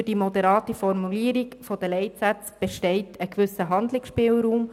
Durch die moderate Formulierung der Leitsätze besteht ein gewisser Handlungsspielraum.